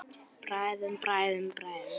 Bræðum, bræðum, bræðum.